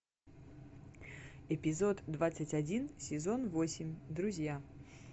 эпизод двадцать один сезон восемь друзья